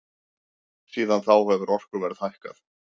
Síðan þá hefur orkuverð hækkað.